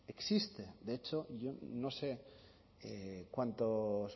existe de hecho yo no sé cuántos